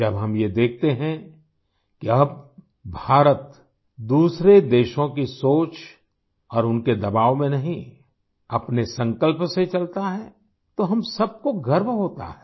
जब हम ये देखते हैं कि अब भारत दूसरे देशों की सोच और उनके दबाव में नहीं अपने संकल्प से चलता है तो हम सबको गर्व होता है